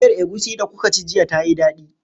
Miyar egusi da kuka ci jiya tayi dadi?